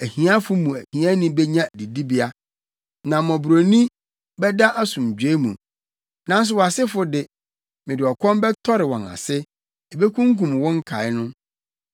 Ahiafo mu hiani benya didibea, na mmɔborɔni bɛda asomdwoe mu. Nanso wʼasefo de, mede ɔkɔm bɛtɔre wɔn ase; ebekunkum wo nkae no.